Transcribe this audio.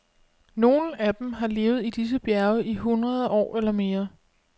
Nogle af dem har levet i disse bjerge i hundrede år eller mere.